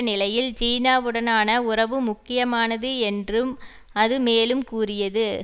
நிலையில் சீனாவுடனான உறவு முக்கியமானது என்றும் அது மேலும் கூறியது